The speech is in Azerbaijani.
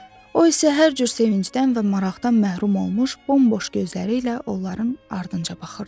O isə hər cür sevincdən və maraqdan məhrum olmuş bomboş gözləri ilə onların ardınca baxırdı.